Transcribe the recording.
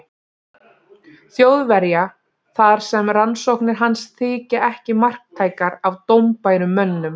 Þjóðverja, þar sem rannsóknir hans þykja ekki marktækar af dómbærum mönnum.